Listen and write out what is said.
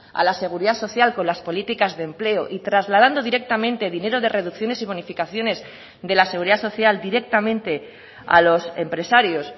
a la seguridad social con las políticas de empleo y trasladando directamente dinero de reducciones y bonificaciones de la seguridad social directamente a los empresarios